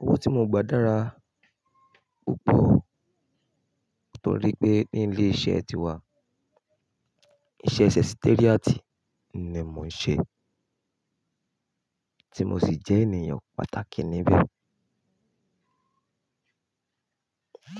Owó tí mo gba dára púpọ̀ nítorí pé ní ilé iṣẹ́ tíwa, iṣẹ́ Secretariat ni èmi ń ṣe tí mo sì jẹ́ ènìyàn pàtàkì níbẹ̀